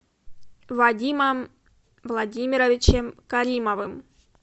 вадимом владимировичем каримовым